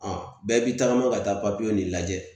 bɛɛ bi tagama ka taa papiye nin lajɛ.